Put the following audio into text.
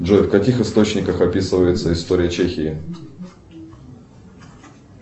джой в каких источниках описывается история чехии